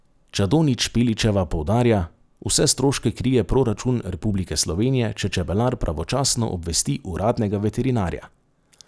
Čadonič Špeličeva poudarja: 'Vse stroške krije proračun Republike Slovenije, če čebelar pravočasno obvesti uradnega veterinarja'.